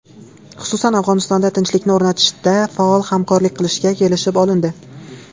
Xususan, Afg‘onistonda tinchlikni o‘rnatishda faol hamkorlik qilishga kelishib olindi.